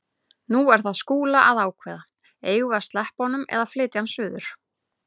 Nú er það Skúla að ákveða: Eigum við að sleppa honum eða flytja hann suður?